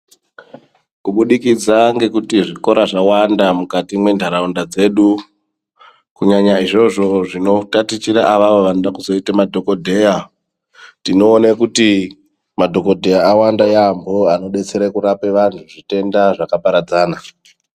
Kubudikidza ngekuti zvikora zvawanda mukati mwenataunda dzedu kunyanya izvozvo zvinotatichira avavo vanoda kuzoite madhogodheya. Tinoone kuti madhokodheya awanda yaambo anodetsere kurape vantu zvitenda zvakaparadzana.